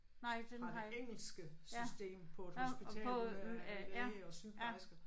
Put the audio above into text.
Fra det engelske system på et hospital med øh læge og sygeplejersker